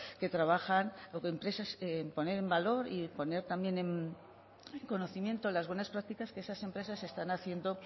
que trabajan empresas en poner en valor y poner también en conocimiento las buenas prácticas que esas empresas están